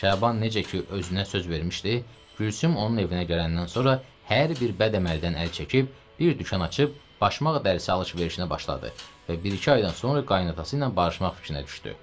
Şaban necə ki özünə söz vermişdi, Gülsüm onun evinə gələndən sonra hər bir bəd əməldən əl çəkib bir dükan açıb başmaqlar ilə alış-verişinə başladı və bir-iki aydan sonra qayınatası ilə barışmaq fikrinə düşdü.